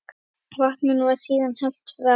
Vatninu var síðan hellt frá.